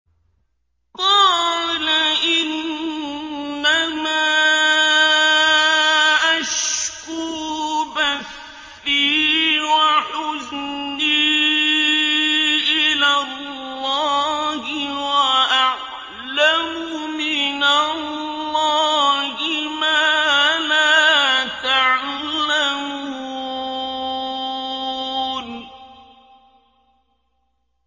قَالَ إِنَّمَا أَشْكُو بَثِّي وَحُزْنِي إِلَى اللَّهِ وَأَعْلَمُ مِنَ اللَّهِ مَا لَا تَعْلَمُونَ